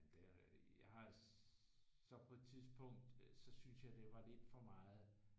Det er jeg har så på et tidspunkt øh så synes jeg det var lidt for meget